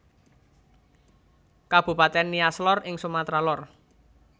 Kabupatèn Nias Lor ing Sumatra Lor